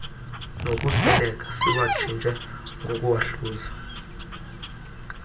nokuseleka siwatshintshe ngokuwahluza